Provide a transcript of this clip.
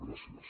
gràcies